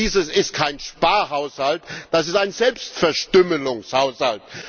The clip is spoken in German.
Dieses ist kein Sparhaushalt, das ist ein Selbstverstümmelungshaushalt!